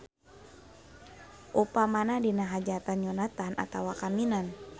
Upamana dina hajatan nyunatan atawa kawinan.